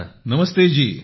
नमस्ते जी ।